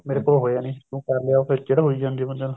ਮੇਰੇ ਕੋਲ ਹੋਇਆ ਨੀ ਤੂੰ ਕਰ ਲਿਆ ਉਹ ਚਿੜ ਹੋਈ ਜਾਂਦੀ ਹੈ ਬੰਦੇ ਨੂੰ